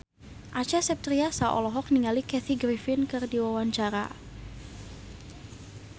Acha Septriasa olohok ningali Kathy Griffin keur diwawancara